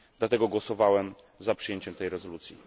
Dlatego głosowałem za przyjęciem tej rezolucji.